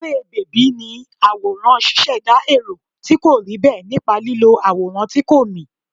Eré bèbí ni àwòrán ṣíṣẹ̀dá èrò tí kò rí bẹ́ẹ̀ nípa lílo àwòrán tí kò mì.